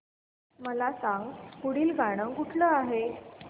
मला सांग पुढील गाणं कुठलं आहे